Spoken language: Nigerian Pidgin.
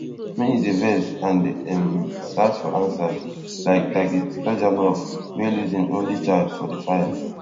many dey vex and dey um search for answers like dragi stojanov wey lose im only child for di fire